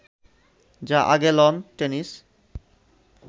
যা আগে lawn tennis